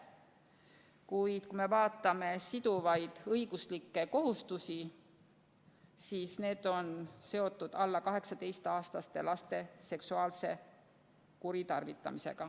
Kuid kui me vaatame siduvaid õiguslikke kohustusi, siis need on seotud alla 18-aastaste laste seksuaalse kuritarvitamisega.